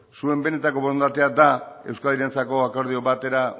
zuen benetako borondatea da euskadirentzako akordio batera